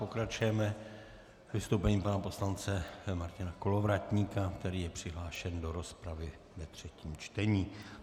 Pokračujeme vystoupením pana poslance Martina Kolovratníka, který je přihlášen do rozpravy ve třetím čtení.